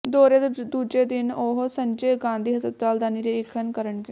ਦੌਰੇ ਦੇ ਦੂਜੇ ਦਿਨ ਉਹ ਸੰਜੇ ਗਾਂਧੀ ਹਸਪਤਾਲ ਦਾ ਨਿਰੀਖਣ ਕਰਨਗੇ